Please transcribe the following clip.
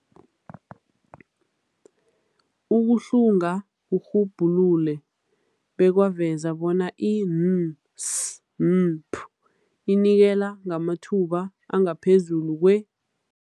Ukuhlunga kurhubhulule bekwaveza bona i-NSNP inikela ngamathuba angaphezulu kwe-